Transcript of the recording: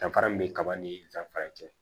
Danfara min bɛ kaba ni danfara kɛ